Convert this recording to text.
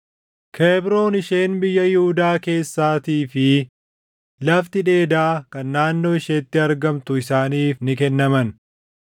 Kebroon isheen biyya Yihuudaa keessaatii fi lafti dheedaa kan naannoo isheetti argamtu isaaniif ni kennaman.